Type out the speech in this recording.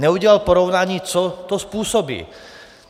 Neudělal porovnání, co to způsobí.